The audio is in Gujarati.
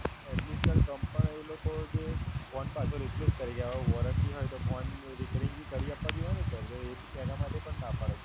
Atlist Sir company પણ એ લોકો જે phone પાછો replace કરી આઓ. Sir હોય તો phone repairing ભી કરી આપવા જોઈએ ને Sir. તો Sir એના માટે પણ ના પાડે છે.